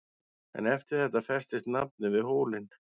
En eftir þetta festist nafnið við hólinn.